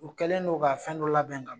U kɛlen n'o ka fɛn dɔ labɛn k'a bila.